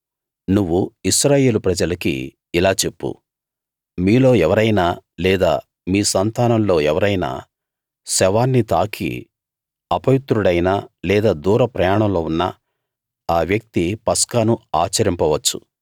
నువ్వు ఇశ్రాయేలు ప్రజలకి ఇలా చెప్పు మీలో ఎవరైనా లేదా మీ సంతానంలో ఎవరైనా శవాన్ని తాకి అపవిత్రుడైనా లేదా దూర ప్రయాణంలో ఉన్నా ఆ వ్యక్తి పస్కాను ఆచరించ వచ్చు